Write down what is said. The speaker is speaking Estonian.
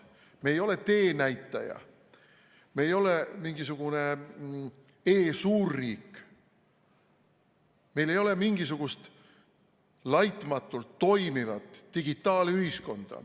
Me ei ole teenäitaja, me ei ole mingisugune e-suurriik, meil ei ole mingisugust laitmatult toimivat digitaalühiskonda.